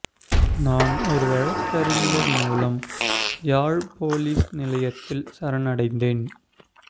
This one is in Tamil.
நான் ஒரு வழக்கறிஞர் மூலம் யாழ் பொலிஸ் நிலையத்தில் சரணடைந்தேன்